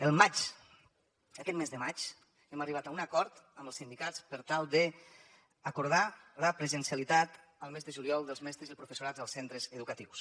al maig aquest mes de maig hem arribat a un acord amb els sindicats per tal d’acordar la presencialitat al mes de juliol dels mestres i el professorat als centres educatius